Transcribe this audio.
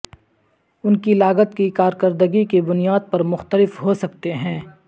ان کی لاگت کی کارکردگی کی بنیاد پر مختلف ہو سکتے ہیں